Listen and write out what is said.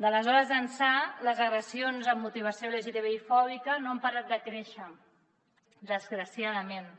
d’aleshores ençà les agressions amb motivació lgtbi fòbica no han parat de créixer desgraciadament